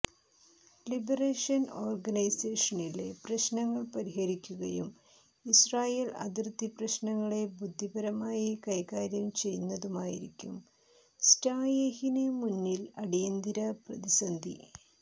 liberation ഓർഗനൈസേഷനിലെ പ്രശ്നങ്ങൾ പരിഹരിക്കുകയും ഇസ്രായേൽ അതിർത്തി പ്രശ്നങ്ങളെ ബുദ്ധിപരമായി കൈകാര്യം ചെയ്യുന്നതുമായിരിക്കും സ്റ്റായെഹിന് മുന്നിലുള്ള അടിയന്തിര പ്രതിസന്ധി